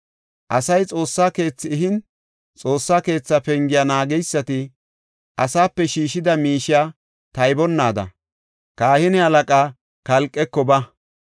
“Asay Xoossa keethi ehin, Xoossa keetha pengiya naageysati asaape shiishida miishiya taybanaada, kahine halaqa Kalqeko ba.